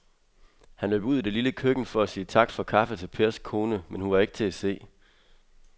Han løb ud i det lille køkken for at sige tak for kaffe til Pers kone, men hun var ikke til at se.